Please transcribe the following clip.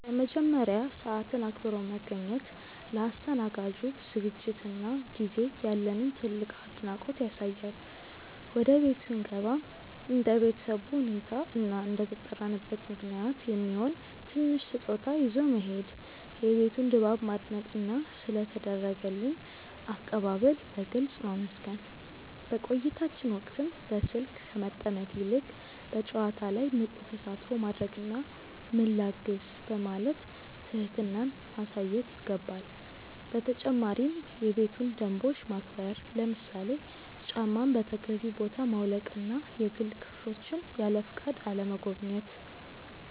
በመጀመሪያ፣ ሰዓትን አክብሮ መገኘት ለአስተናጋጁ ዝግጅትና ጊዜ ያለንን ትልቅ አድናቆት ያሳያል። ወደ ቤት ስንገባም እንደ ቤተሰቡ ሁኔታ እና እንደተጠራንበት ምክንያት የሚሆን ትንሽ ስጦታ ይዞ መሄድ፣ የቤቱን ድባብ ማድነቅና ስለ ተደረገልን አቀባበል በግልጽ ማመስገን። በቆይታችን ወቅትም በስልክ ከመጠመድ ይልቅ በጨዋታው ላይ ንቁ ተሳትፎ ማድረግና "ምን ላግዝ?" በማለት ትህትናን ማሳየት ይገባል። በተጨማሪም የቤቱን ደንቦች ማክበር፣ ለምሳሌ ጫማን በተገቢው ቦታ ማውለቅና የግል ክፍሎችን ያለፈቃድ አለመጎብኘት።